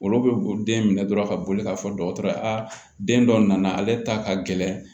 Olu bɛ den minɛ dɔrɔn ka boli ka fɔ dɔgɔtɔrɔ ye a den dɔ nana ale ta ka gɛlɛn